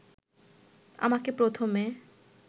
আমাকে প্রথমে